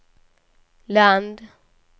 land